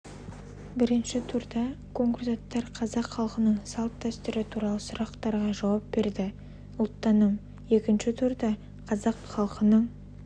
бірінші турда конкурсанттар қазақ халқының салт-дәстүрі туралы сұрақтарға жауап берді ұлттаным екінші турда қазақ халқының